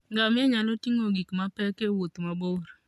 Ngamia nyalo ting'o gik mapek e wuoth mabor.